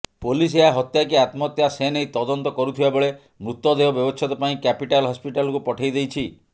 police ଏହା ହତ୍ୟା କି ଆତ୍ମହତ୍ୟା ସେନେଇ ତଦନ୍ତ କରୁଥିବାବେଳେ ମୃତଦେହ ବ୍ୟବଚ୍ଛେଦ ପାଇଁ କ୍ୟାପିଟାଲ ହସ୍ପିଟାଲକୁ ପଠାଇଦେଇଛି